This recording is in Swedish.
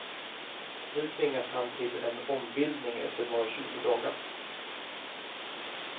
Nu tvingas han till en ombildning efter bara tjugo dagar.